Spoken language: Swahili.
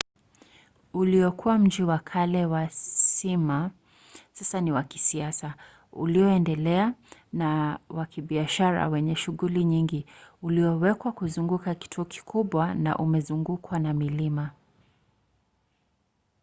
uliokuwa mji wa kale wa smyma sasa ni wa kisasa ulioendelea na wa kibiashara wenye shughuli nyingi ulioewekwa kuzunguka kituo kikubwa na umezungukwa na milima